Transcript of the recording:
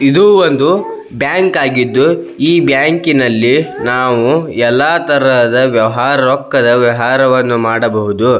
ಇದು ಒಂದು ಬ್ಯಾಂಕ್ ಆಗಿದ್ದು ಈ ಬ್ಯಾಂಕಿನಲ್ಲಿ ನಾವು ಎಲ್ಲಾ ತರಹದ ವ್ಯವಹಾರ ರೊಕ್ಕದ್ ವ್ಯವಹಾರವನ್ನು ಮಾಡಬಹುದು.